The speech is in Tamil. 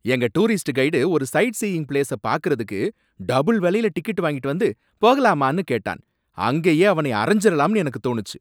எங்க டூரிஸ்ட் கைடு ஒரு சைட் சீயிங் பிளேஸ பாக்குறதுக்கு டபுள் வலைல டிக்கெட் வாங்கிட்டு வந்து 'போகலாமா?'ன்னு கேட்டான், அங்கயே அவனை அறைஞ்சரலாம்னு எனக்குத் தோனுச்சு.